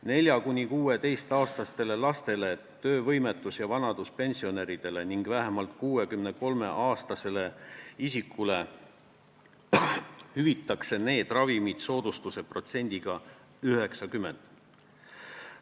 4- kuni 16-aastastele lastele, töövõimetus- ja vanaduspensionäridele ning vähemalt 63-aastastele isikutele hüvitatakse need ravimid soodustuse protsendiga 90.